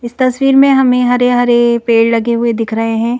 इस तस्वीर में हमें हरे-हरे पेड़ लगे हुए दिख रहे हैं।